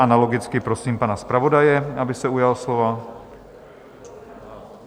Analogicky prosím pana zpravodaje, aby se ujal slova.